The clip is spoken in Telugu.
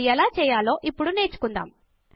అది ఎలా చేయాలో ఇప్పుడు నేర్చుకుందాము